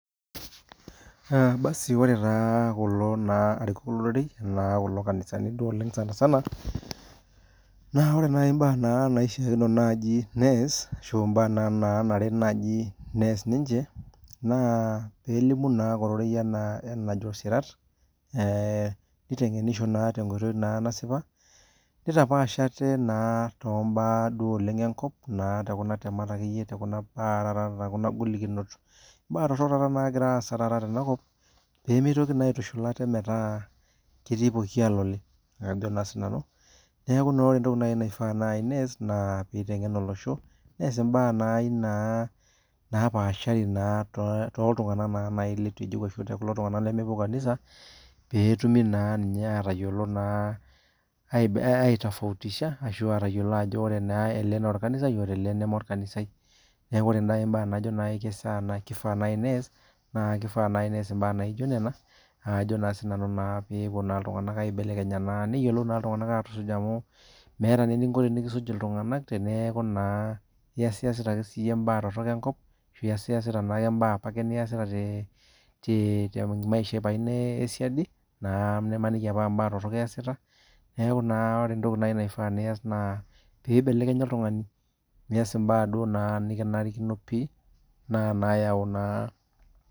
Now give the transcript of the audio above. Basi ore naa kulo arikok lororei, naa kulo duo anisani oleng sanisana, naa ore naa mbaa nanarikino nees ashu mbaa naanaare niche nees, naa pee elimu naake ororei ena enajo sirat, nitengenisho naa tenkoitoi naasipa, nitapaas ate naa tombaa enkop naa tenkuna temat akeyie tekuna golikinot. Baa torok naa nagira aasa tenakop pee mitoki aitushul ate naa metaa keti pooki alole. Neeku naa ore naji entoki naifaa nees naa pee eitengen olosho nees mbaa naji naapashari toltungani naaji leitu ejeu ashu tookulo tungank lemepuo kanisa pee etumi naa ninye aitofautisha ayiolou ajo ore ele naa orkanisai, ore ele neme orkanisai ,neeku ore naaji mbaa najo naaji keishaa nees ,naa kifaa naaji nees mbaa naijo enena naa kajo pee epuo iltunganak aibelekenya na niyiolou iltunganak atusuj amu meeta naa eniko tenikisju iltunganak teneeku naa iyasita ake siiyie mbaa enkop, iyasita naake mbaa apake niyasita temaisha ino esiaidi ,na imaniki aa mbaa torok apa iyasita ,neeku naa ore naji entoki naifaa pee iyas naa pe eibelekenya oltungani nees mbaa naa nikinarikino pi.